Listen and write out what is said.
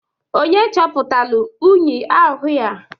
Onye chọpụtalụ unyi ahụịa?